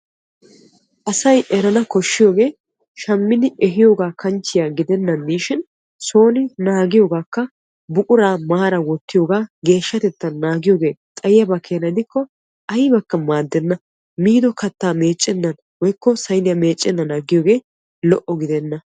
Asay eranna koshiyooge shamiddi ehiyooga kanchche gidennan de'ishin soonikka naagana koshees. Kattaa miidi saynniya meecennan aggiyooge lo'o giddenna.